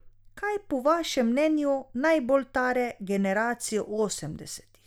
Kaj po vašem mnenju najbolj tare generacijo osemdesetih?